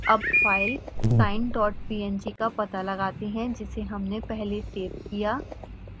अब file sinepng का पता लगाते हैं जिसे हमने पहले सेव किया